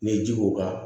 N'i ye ji k'o kan